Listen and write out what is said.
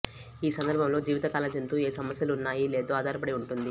ఈ సందర్భంలో జీవితకాల జంతు ఏ సమస్యలు ఉన్నాయి లేదో ఆధారపడి ఉంటుంది